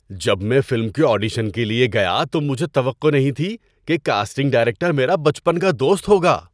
جب میں فلم کے آڈیشن کے لیے گیا تو مجھے توقع نہیں تھی کہ کاسٹنگ ڈائریکٹر میرا بچپن کا دوست ہوگا۔